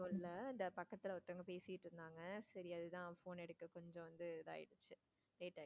இல்ல பக்கத்துல ஒருத்தவங்க பேசிட்டு இருந்தாங்க சரி அது தான் phone எடுக்க கொஞ்சம் வந்து இது ஆயிடுச்சு late ஆயிடுச்சு.